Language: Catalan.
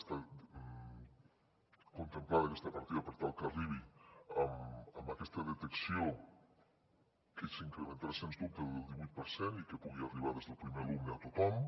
està contemplada aquesta partida per tal que arribi amb aquesta detecció que s’incrementarà sens dubte del divuit per cent i que pugui arribar des del primer alumne a tothom